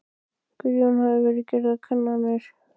Guðjón: Hafa verið gerðar kannanir?